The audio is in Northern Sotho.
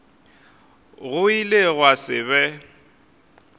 go ile gwa se be